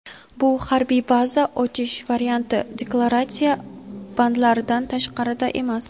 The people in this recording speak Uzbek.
Bu [harbiy baza ochish varianti] deklaratsiya bandlaridan tashqarida emas.